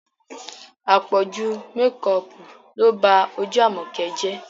Àpọ̀jù mekọọ̀pù ló ba ojú Àmọ̀kẹ́ jẹ́